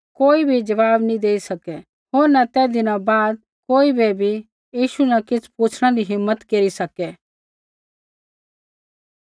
कोई भी ज़वाब नी देई सकै होर न तैदी न बाद कोई बै भी यीशु न किछ़ पुछ़णै री हिम्मत केरी सकै